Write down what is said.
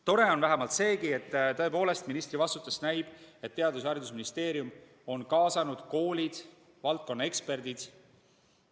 Tore on vähemalt seegi, et ministri vastustest näib, et Teadus- ja Haridusministeerium on kaasanud koolid, valdkonna eksperdid.